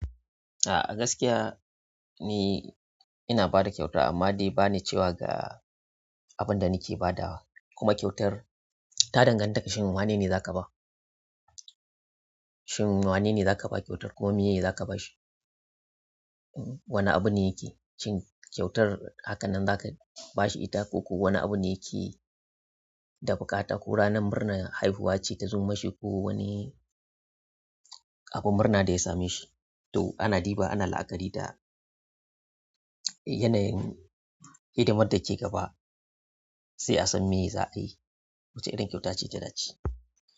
A gaskiya ni ina ba da kyauta amma dai ba ni cewa ga abin da nake badawa. Kuma kyautar ta danganta shin wane ne za ka ba, shin wane ne za ka ba kyautar kuma meye za ka bashi. Wane abu ne yake cin kyautar hakanan za ka bashi ita ko ko wani abu ne yake da buƙata ko ranar murna haihuwa ce ka zo ma shi ko wani abun murna da ya same shi. To ana ɗiba ana la'akari da yanayin hidimar da ke gaba sai a san me za a yi wacce irin kyauta ce ta da ce.